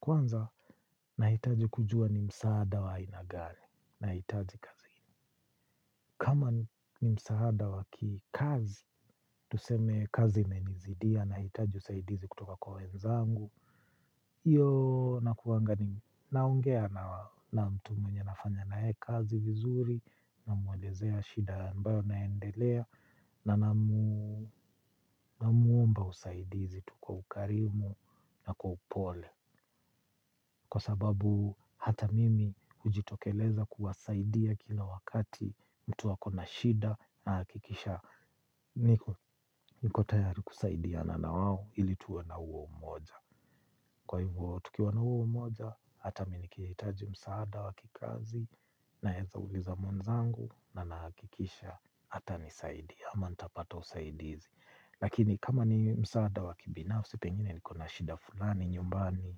Kwanza, nahitaji kujua ni msaada wa aina gani nahitaji kazini. Kama ni msaada wa kikazi, tuseme kazi imenizidia, nahitaji usaidizi kutoka kwa wenzangu. Hiyo nakuanga naongea na mtu mwenye nafanya na yeye kazi vizuri, namwelezea shida ambayo inaendelea, na namwomba usaidizi tu kwa ukarimu na kwa upole. Kwa sababu hata mimi hujitokeleza kuwasaidia kila wakati mtu ako na shida nahakikisha niko tayari kusaidiana na wao ili tuwe na huo umoja kwa hivyo tukiwa na huo umoja hata mimi nikihitaji msaada wa kikazi naweza uliza mwenzangu na nahakikisha atanisaidia ama nitapata usaidizi. Lakini kama ni msaada wa kibinafsi pengine niko na shida fulani nyumbani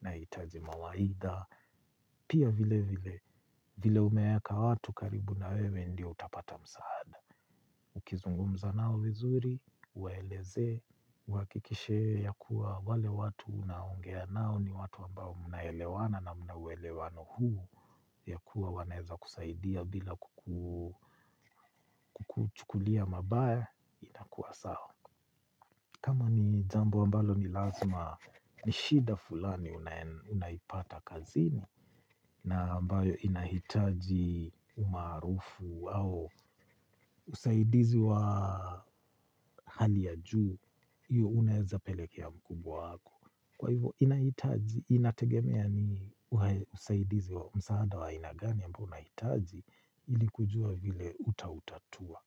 nahitaji mawaidha. Pia vilevile vile umeweka watu karibu na wewe ndiyo utapata msaada. Ukizungumza nao vizuri, uwaelezee, uhakikishe ya kuwa wale watu unaoongea nao ni watu ambao mnaelewana na muna uelewano huu ya kuwa wanaweza kusaidia bila kukuchukulia mabaya inakuwa sawa. Kama ni jambo ambalo ni lazima ni shida fulani unaipata kazini na ambayo inahitaji umaarufu au usaidizi wa hali ya juu, hiyo unaweza pelekea mkubwa wako. Kwa hivyo inahitaji, inategemea ni usaidizi wa msaada wa aina gani ambao unahitaji ili kujua vile utautatua.